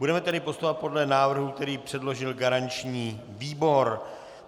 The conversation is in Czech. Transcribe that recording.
Budeme tedy postupovat podle návrhu, který předložil garanční výbor.